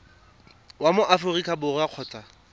wa mo aforika borwa kgotsa